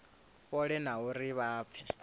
fhole na uri vha pfe